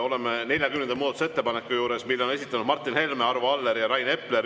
Oleme 40. muudatusettepaneku juures, mille on esitanud Martin Helme, Arvo Aller ja Rain Epler.